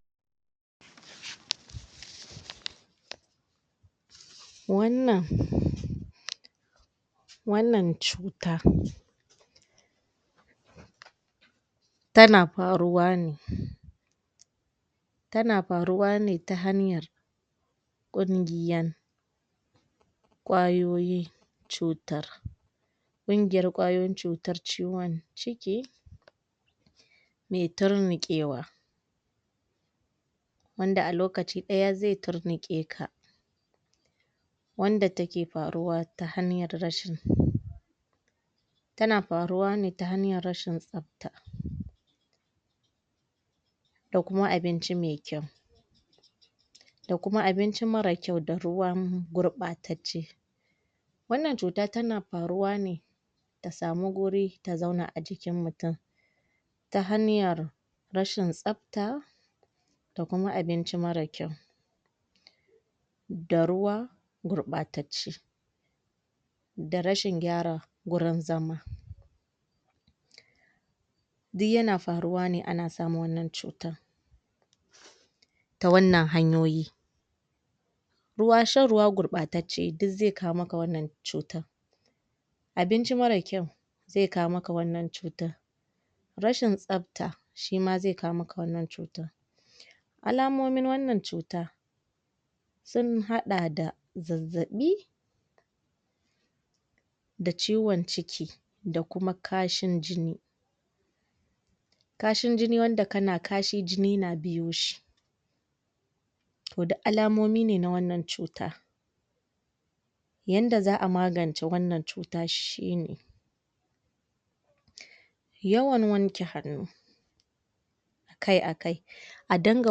pause wannan wannan cutar tana farowa ne tana faruwa ne ta hanyar ƙungiyan kwayoyi cutar ƙungiyar kwayoyin cutar ciwon ciki me turnuƙewa wanda a lokaci ɗaya ze turnuƙeka wanda take faruwa ta hanyar rashin tana faruwa ne ta hanyar rashin tsafta da kuma abinci me kyau da kuma abinci mara kyau da ruwan gurɓatacce wannan cuta tana faruwa ne ta samu guri ta zauna a jikin mutum ta hanyar rashin tsafta da kuma abinci mara kyau da ruwa gurɓatacce da rashin gyara gurin zama du yana faruwa ne ana samun wannan cutan ta wannan hanyoyi ruwa, shan ruwa gurɓatacce duk ze kawo maka wannan cutan abinci mara kyau ze kawo maka wannan cutan rashin tsafta shima ze kawo maka wannan cutan alamomin wannan cuta sun haɗa da zazzaɓi da ciwon ciki da kuma kashin jini kashin jini wanda kana kashi jini da biyoshi to du alamomi ne na wannan cuta yanda za'a magance wannan cuta shine yawan wanke hannu akai-akai a dinga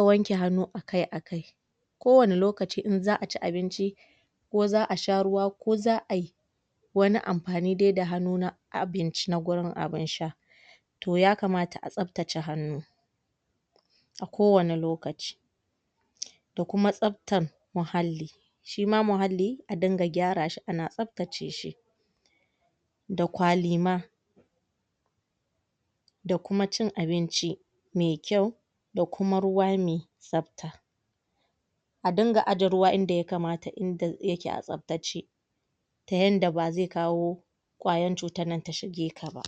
wanke hannu akai-akai ko wani lokaci in za'a ci abinci ko za'a sha ruwa ko za'ai wani amfani dai da hannu na abinci na gurin abin sha to ya kamata a tsaftace hannu a kowane lokaci da kuma tsaftan muhalli shima muhalli a dinga gyarashi ana tsaftace shi da kwalima da kuma cin abinci me kyau da kuma ruwa me tsafta a dinga aje ruwa inda ya kamata inda yake a tsaftace ta yanda bazai kawo kwayan cutan nan ta shige ka ba